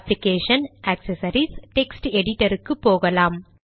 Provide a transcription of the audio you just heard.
application GD accessories GD text editor போகலாம்